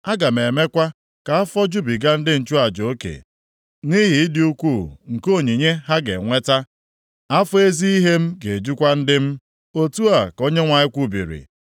Aga m emekwa ka afọ jubiga ndị nchụaja oke nʼihi ịdị ukwuu nke onyinye ha ga-enweta, afọ ezi ihe m ga-ejukwa ndị m,” + 31:14 Ndị m ga-enwejubigakwa ihe niile oke otu a ka Onyenwe anyị kwubiri.